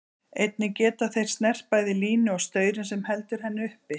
Einnig geta þeir snert bæði línu og staurinn sem heldur henni uppi.